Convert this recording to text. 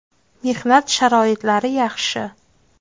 Mehnat sharoitlari yaxshi.